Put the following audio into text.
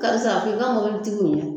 Karisa a f'i ka mobilitigiw ye